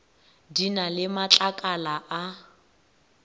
di na le matlakala a